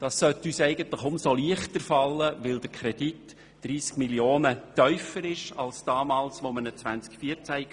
Das sollte uns umso leichter fallen, weil der Kredit um 30 Mio. Franken tiefer ist als damals im Jahr 2014.